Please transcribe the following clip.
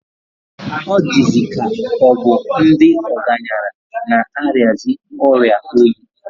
Ọ dịzịka ọ bụ ndị ọgaranya na-arịazi ọrịa oyi.